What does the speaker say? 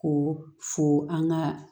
Ko fo an ka